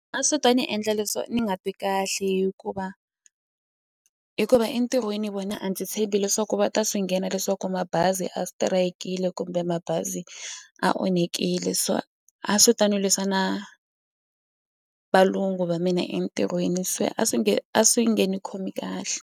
A swi ta ni endla ni nga twi kahle hikuva hikuva entirhweni vona a ndzi tshembi leswaku va ta swi nghena leswaku mabazi a strike-le kumbe mabazi a onhekile so a swi ta ni lwisa na valungu va mina entirhweni se a swi nge a swi nge ni khomi kahle.